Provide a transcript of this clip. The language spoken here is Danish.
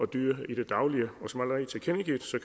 dyr i det daglige